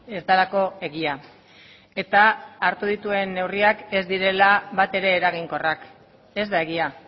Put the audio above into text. ez delako egia eta hartu dituen neurriak ez direla batere eraginkorrak ez da egia